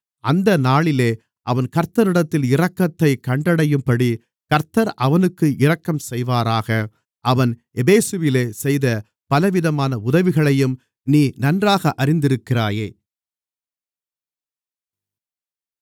அந்த நாளிலே அவன் கர்த்தரிடத்தில் இரக்கத்தைக் கண்டடையும்படி கர்த்தர் அவனுக்கு இரக்கம்செய்வாராக அவன் எபேசுவிலே செய்த பலவிதமான உதவிகளையும் நீ நன்றாக அறிந்திருக்கிறாயே